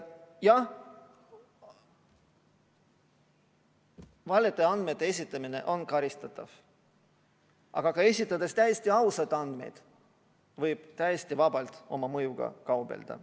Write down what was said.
Jah, valede andmete esitamine on karistatav, aga ka esitades täiesti ausaid andmeid võib täiesti vabalt oma mõjuga kaubelda.